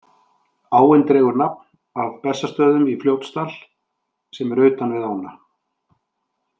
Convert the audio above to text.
Áin dregur nafn af Bessastöðum í Fljótsdal, sem eru utan við ána.